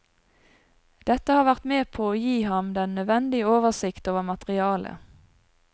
Dette har vært med på å gi ham den nødvendige oversikt over materialet.